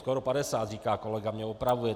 Skoro 50, říká kolega, mě opravuje.